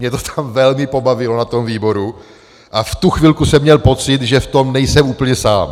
Mě to tam velmi pobavilo na tom výboru a v tu chvilku jsem měl pocit, že v tom nejsem úplně sám.